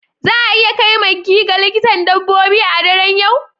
Za a iya kai maggie ga likitan dabbobi a daren yau?